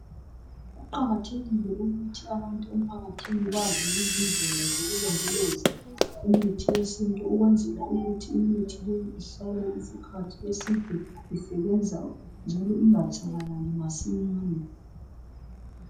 Kuqakathekile ukuthi abantu emphakathini bazi indlela zokulondoloza imithi yesintu ukwenzela ukuthi imithi le ihlale isikhathi eside isebenza njalo ingatshabalali masinyane